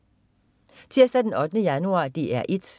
Tirsdag den 8. januar - DR 1: